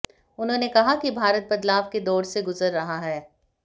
उन्होंने कहा कि भारत बदलाव के दौर से गुजर रहा है